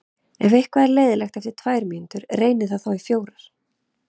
Ef eitthvað er leiðinlegt eftir tvær mínútur, reynið það þá í fjórar.